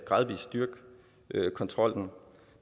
styrke kontrollen